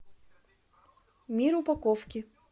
мир упаковки